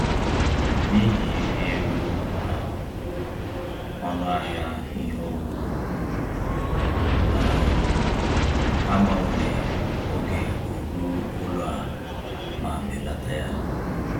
N’ihi ịrị elu um ọnụ ahịa ihe owuwu, um ha gbanwere oge oru ụlọ a ma belata ya